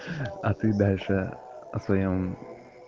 а ты дальше о своём